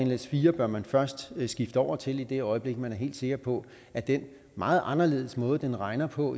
nles4 bør man først skifte over til i det øjeblik hvor man er helt sikker på at den meget anderledes måde den regner på